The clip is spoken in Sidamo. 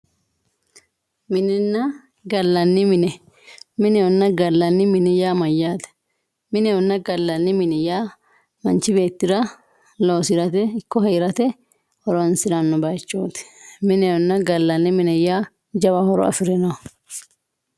Minenna gallanni mine, minehonna gallanni mine yaa mayyate, minehonna gallanni mine yaa manchi beettira gallate loosirate heerate horonsirano bayichoti minenna gallanni mine yaa jawa horo afirinoho.